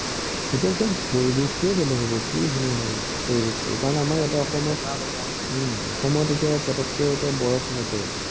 এইটো টো পৰিৱেশটোৱে বেলেগ হব কি ধুনীয়া হব পৰিবেশটো কাৰণ আমাৰ এতিয়া অসমত চাৰিওফালে বগা বগা হুম অসম এতিয়া পতকে এতিয়া বৰফ নপৰে ভাল লাগিব